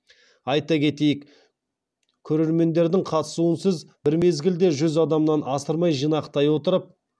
айта кетейік көрермендердің қатысуынсыз бір мезгілде жүз адамнан асырмай жинақтай отырып